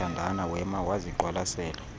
ziyathandana wema waziqwalasela